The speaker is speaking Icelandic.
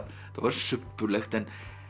var subbulegt en